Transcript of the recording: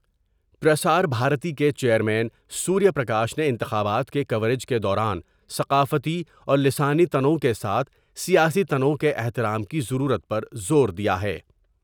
پرسار بھارتی کے chairman Surya Prakash نے انتخابات کے کوریج کے دوران ثقافتی اور لسانی تنوع کے ساتھ سیاسی تنوع کے احترام کی ضرورت پر زور دیا ہے ۔